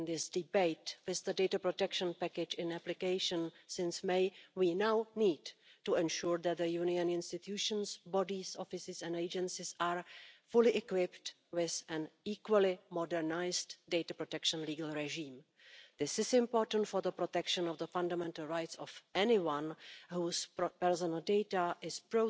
Plastic is een belangrijk en waardevol materiaal, dat nog moeilijk weg te denken valt uit onze maatschappij en economie. Het probleem is de manier waarop wij plastic vandaag produceren en gebruiken. Die is onhoudbaar. Plastic wordt ontwikkeld om eeuwig mee te gaan, maar we gebruiken het al te vaak maar één keer. Soms verdwijnt het al na enkele seconden of minuten in de vuilniszak, of erger, in het